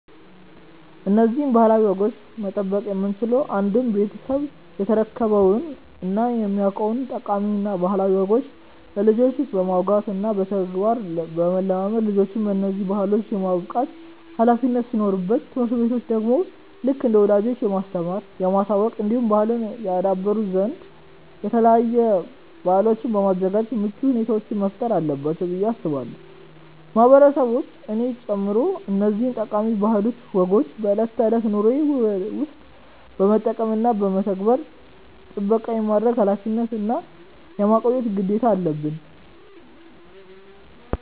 እነዚህን ባህላዊ ወጎች መጠበቅ የምንችለው አንድም ቤተሰብ የተረከበውን እና የሚያውቀውን ጠቃሚ እና ባህላዊ ወጎች ለልጆች በማውጋት እና በተግባር ለማለማመድ ልጆችን በነዚህ ባህሎች የማብቃት ኃላፊነት ሲኖርበት ትምህርት ቤቶች ደግሞ ልክ እንደ ወላጆች የማስተማር፣ የማሳወቅ እንዲሁም ባህልን ያደብሩ ዘንድ የተለያዩ በአሎችን በማዘጋጃት ምቹ ሁኔታዎችን መፍጠር አለባቸው ብዬ አስባለው። ማህበረሰቦች እኔን ጨምሮ እነዚህን ጠቃሚ ባህላዊ ወጎችን በእለት ተእለት ኑሮዎችን ውስጥ በመጠቀም እና በመተግበር ጥበቃ የማድረግ ኃላፊነት እና የማቆየት ግዴታ አለበን።